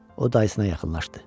O dayısına yaxınlaşdı.